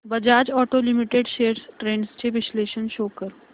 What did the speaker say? Bajaj auto limited shares trends चे विश्लेषण show कर